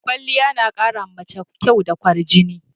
Kwaliya na ƙara ma mace kyau da kwarjini.